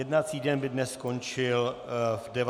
Jednací den by dnes skončil v 19 hodin.